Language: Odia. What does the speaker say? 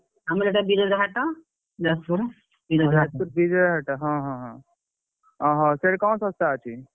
ଆମର ଏଇଟା ବିରଜା ହାଟ, ଯାଜପୁର ବିରଜା ହାଟ ଯାଜପୁର ବିରଜା ହାଟ, ହଁ ହଁ ହଁ, ଅହ ସେଠି କଣ ଶସ୍ତା ଅଛି?